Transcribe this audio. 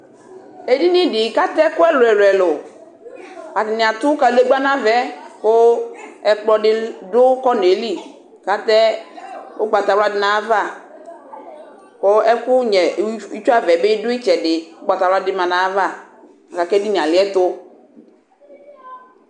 Edɩnɩ dɩ kʊ ata ɛkʊ ɛlʊɛlʊelʊ atanɩ atʊ kadegba nʊ avɛ kʊ ɛkplɔdɩ dʊ konɛlɩ kʊ atɛ ugbatawla dʊnʊ ayʊ ava kʊ ɛfʊ nyɛ itsuava dɩ ugbatawla du ayuava kʊ edibie alɩɛtʊ